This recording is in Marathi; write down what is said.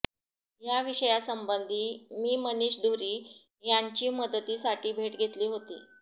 या विषयासंबंधी मी मनिष धुरी यांची मदतीसाठी भेट घेतली होती